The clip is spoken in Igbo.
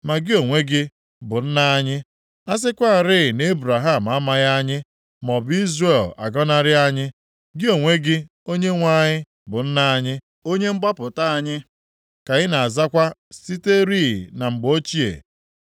Ma gị onwe gị, bụ Nna anyị, a sịkwarị na Ebraham amaghị anyị maọbụ Izrel agọnarị anyị, gị onwe gị, Onyenwe anyị, bụ Nna anyị, onye Mgbapụta anyị ka ị na-azakwa siterị na mgbe ochie.